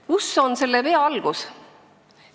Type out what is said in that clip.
Kus on selle vea algus?